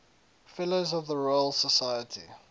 fellows of the royal society